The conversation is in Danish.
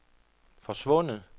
forsvundet